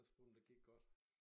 Spurgte om det gik godt